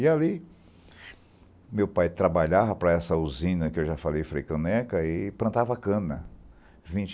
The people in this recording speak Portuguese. E ali, meu pai trabalhava para essa usina que eu já falei, Freio caneca, e plantava cana.